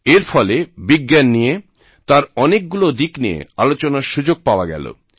এর ফলে বিজ্ঞান নিয়ে তার অনেকগুলো দিক নিয়ে আলোচনার সুযোগ পাওয়া গেল